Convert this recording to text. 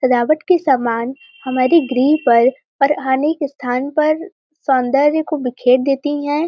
सजावट के समान हमारे गृह पर पर आने के स्थान पर सौंदर्य को बिखरे देती है।